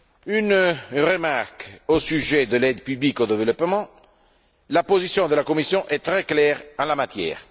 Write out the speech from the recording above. Une remarque au sujet de l'aide publique au développement la position de la Commission est très claire en la matière.